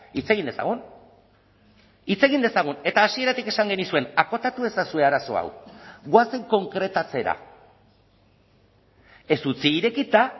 hitz egin dezagun hitz egin dezagun eta hasieratik esan genizuen akotatu ezazue arazo hau goazen konkretatzera ez utzi irekita